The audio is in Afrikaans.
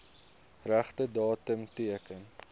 regte datum teken